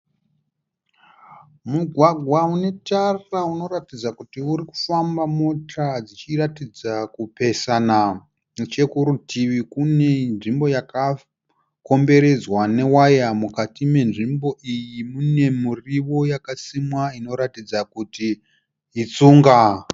Mugwagwa unetara unoratidza kuti urikufamba mota dzichiratidza kupesana. Nechekurutivi kune nzvimbo yakakomberedzwa newaya. Mukati menzvimbo iyi mune muriwo yakasimwa inoratidza kuti itsunga.